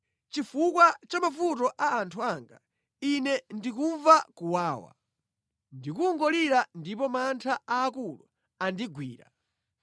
Chifukwa cha mavuto a anthu anga, ine ndikumva kuwawa; ndikungolira ndipo mantha aakulu andigwira.